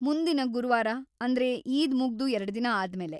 ಮುಂದಿನ ಗುರುವಾರ, ಅಂದ್ರೆ ಈದ್‌ ಮುಗ್ದು ಎರಡ್ದಿನ ಆದ್ಮೇಲೆ.